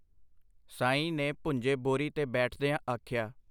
ਸਾਈਂ ਨੇ ਭੁੰਜੇ ਬੋਰੀ ਤੇ ਬੈਠਦਿਆਂ ਆਖਿਆ.